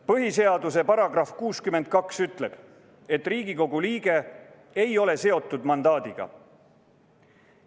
Põhiseaduse § 62 ütleb, et Riigikogu liige ei ole seotud mandaadiga.